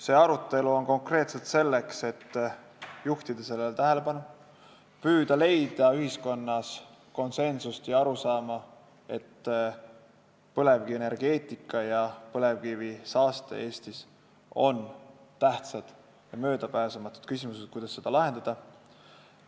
See arutelu on konkreetselt selleks, et juhtida sellele tähelepanu, püüda leida ühiskonnas konsensust ja tekitada arusaama, et põlevkivienergeetika ja põlevkivisaaste Eestis on tähtsad ja möödapääsmatud küsimused, mis tuleb lahendada.